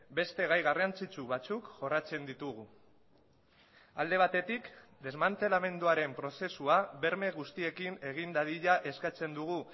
beste gai garrantzitsu batzuk jorratzen ditugu alde batetik desmantelamenduaren prozesua berme guztiekin egin dadila eskatzen dugu